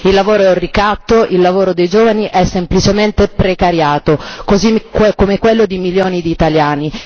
Il lavoro è un ricatto, il lavoro dei giovani è semplicemente precariato, così come quello di milioni di italiani.